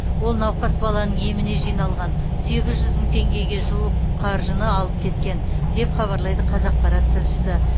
ол науқас баланың еміне жиналған сегіз жүз мың теңгеге жуық қаржыны алып кеткен деп хабарлайды қазақпарат тілшісі